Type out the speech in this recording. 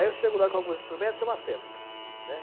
Aí eu chego lá com alguns instrumentos, é uma festa, né.